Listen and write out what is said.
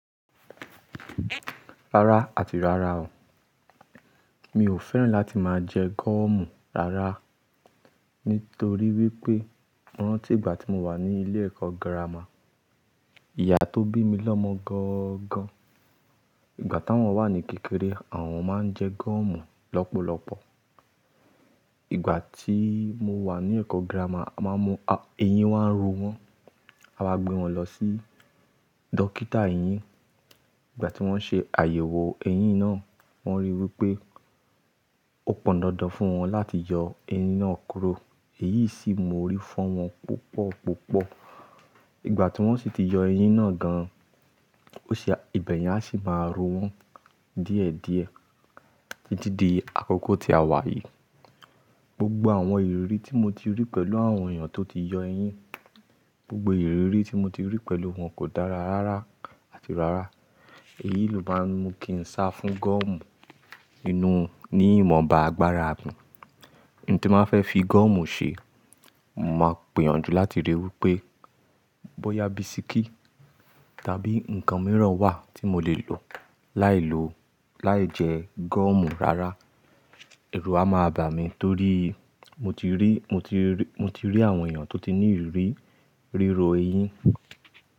Rárá àti rárá o, mi ò fẹ́ràn láti máa jẹ gúọ́mù rárá nítorí wípé mo rántí ìgbà tí mo wà ní ilé ẹ̀kọ́ girama, ìyá tó bí mi lọ́mọ gangan, ìgbà táwọn wà ní kékeré, àwọn máa ń jẹ gúọ́mù lọ́pọ̀lọpọ̀. Ìgbà tí mo wà ní ẹ̀kọ́ girama, a máa mú, eyín wá ń ro wọn, a máa gbé wọn lọ sí dókítà eyín. Ìgbà tí wọ́n ṣe àyẹ̀wò eyín náà, wọ́n rí wípé ó pọn dandan fún wọn láti yọ eyín náà kúrò. Èyí sì mú orí fọ́n wọn púpọ̀ púpọ̀. Ìgbà tí wọ́n sì ti yọ eyín náà gan an, ó ṣe, ibẹ̀yẹn á sì máa rọ wọ́n díẹ̀ díẹ̀. Didì akọ́kọ́ ti a wàyí. Gbogbo àwọn ìrírí tí mo ti rí pẹ̀lú àwọn èèyàn tó ti yọ eyín, gbogbo ìrírí tí mo ti rí pẹ̀lú wọn kò dára rárá àti rárá. Èyí ló máa ń mú kí n sá fún gúọ́mù inú ní ìmọ̀ba agbára mi. N tí máa fẹ́ fi gúọ́mù ṣe, mo máa pèyànjú láti ríi wípé bóyá bisikí tàbí ǹkan mìíràn wà tí mo lè lò láì lo, láì jẹ gúọ́mù rárá. Èru a máa bà mí torí mo ti rí, mo ti rí, mo ti rí àwọn èèyàn tó ti ní ìrírí rírọ eyín.